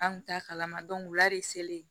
An kun t'a kalama wula de selen